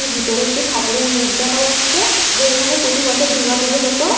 ভিতরে একটি ঠাকুরের মেট দেখা যাচ্ছে দিয়ে এখানে প্রতিবছর একটি দুর্গাপূজা হতো--